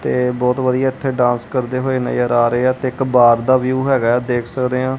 ਤੇ ਬਹੁਤ ਵਧੀਆ ਇੱਥੇ ਡਾਂਸ ਕਰਦੇ ਹੋਏ ਨਜ਼ਰ ਆ ਰਹੇ ਹਾਂ ਤੇ ਇੱਕ ਬਾਰ ਦਾ ਵਿਊ ਹੈਗਾ ਆ ਦੇਖ ਸਕਦੇ ਹਾਂ।